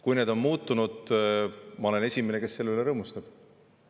Kui see on muutunud, siis ma olen esimene, kes selle üle rõõmustab.